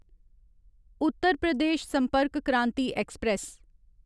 Uttar Pradesh Sampark Kranti express